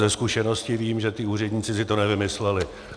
Ze zkušenosti vím, že ti úředníci si to nevymysleli.